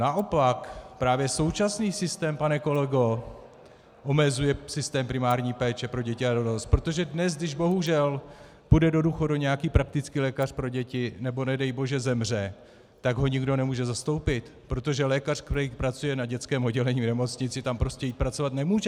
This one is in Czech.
Naopak právě současný systém, pane kolego, omezuje systém primární péče pro děti a dorost, protože dnes, když bohužel půjde do důchodu nějaký praktický lékař pro děti, nebo nedej bože zemře, tak ho nikdo nemůže zastoupit, protože lékař, který pracuje na dětském oddělení v nemocnici, tam prostě jít pracovat nemůže.